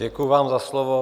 Děkuji vám za slovo.